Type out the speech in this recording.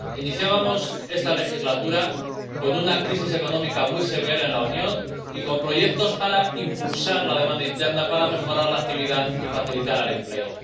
Iniciábamos esta legislatura con una crisis económica muy severa en la Unión y con proyectos para impulsar la demanda interna, para mejorar la actividad y facilitar el empleo.